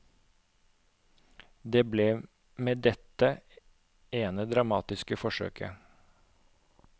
Det ble med dette ene dramatiske forsøket.